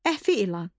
Əfi ilan.